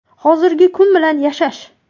Hozirgi kun bilan yashash.